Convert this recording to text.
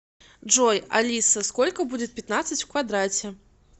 джой алиса сколько будет пятнадцать в квадрате